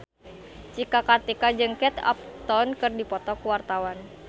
Cika Kartika jeung Kate Upton keur dipoto ku wartawan